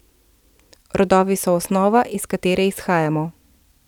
Rodovi so osnova, iz katere izhajamo.